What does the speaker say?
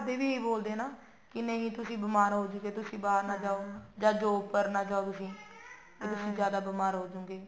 ਘਰਦੇ ਵੀ ਨੀ ਬੋਲਦੇ ਨਾ ਵੀ ਤੁਸੀਂ ਬੀਮਾਰ ਹੋਜੋੰਗੇ ਤੁਸੀਂ ਬਾਹਰ ਨਾ ਜਾਓ ਜਾਂ ਉੱਪਰ ਨਾ ਜਾਓ ਤੁਸੀਂ ਤੁਸੀਂ ਜਿਆਦਾ ਬੀਮਾਰ ਹੋਜੋੰਗੇ